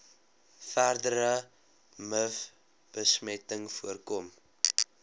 verdere mivbesmetting voorkom